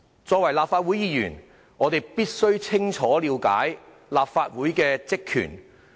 身為立法會議員，我們必須清楚了解立法會的職權。